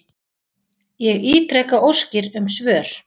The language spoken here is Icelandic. Ég ítreka óskir um svör.